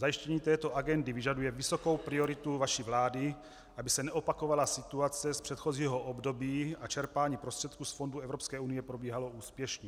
Zajištění této agendy vyžaduje vysokou prioritu vaší vlády, aby se neopakovala situace z předchozího období a čerpání prostředků z fondů Evropské unie probíhalo úspěšně.